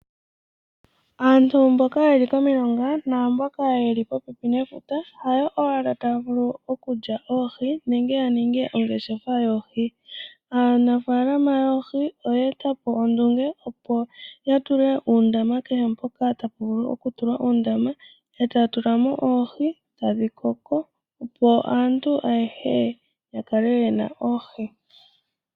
Aantu mboka yeli pomilonga naamboka yeli popepi nefuta hayo owala taya vulu okulya oohi nenge ya ninge ongeshefa yoohi. Aanafaalama yoohi oya etapo ondunge opo ya tule uundama kehe mpoka tapu vulu okutulwa uundama etaya tulamo oohi etadhi koko opo aantu ayehe ya kale yena oohi.